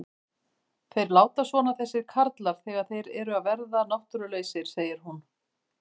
Þeir láta svona þessir karlar þegar þeir eru að verða náttúrulausir, segir hún.